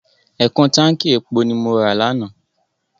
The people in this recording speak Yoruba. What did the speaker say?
Ẹ̀kún táǹkì epo ni mo ra lánàá.